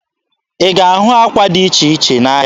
Ị ga-ahụ ákwà dị iche iche n'ahịa.